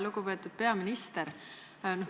Lugupeetud peaminister!